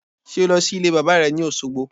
Sé o lọ sílé bàbá re ni Òsogbo?